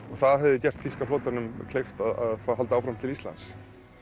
og það hefði gert þýska flotanum kleift að halda áfram til Íslands